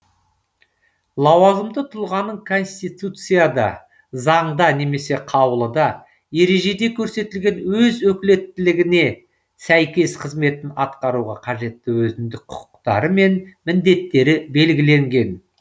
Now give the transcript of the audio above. лауазымды тұлғаның конституцияда заңда немесе қаулыда ережеде көрсетілген өз өкілеттігіне сәйкес қызметін атқаруға қажетті өзіндік құқықтары мен міндеттері белгіленген